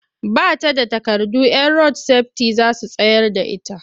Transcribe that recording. Ba ta da takardu 'yan rod-sefiti za su tsayar da ta.